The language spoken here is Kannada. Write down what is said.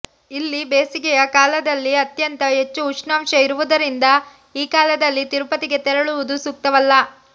ಇಲ್ಲಿ ಬೇಸಿಗೆಯ ಕಾಲದಲ್ಲಿ ಅತ್ಯಂತ ಹೆಚ್ಚು ಉಷ್ಣಾಂಶ ಇರುವುದರಿಂದ ಈ ಕಾಲದಲ್ಲಿ ತಿರುಪತಿಗೆ ತೆರಳುವುದು ಸೂಕ್ತವಲ್ಲ